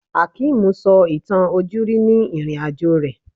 Hakeem sọ ìtàn ojúrí ni ìrìn-àjò rẹ̀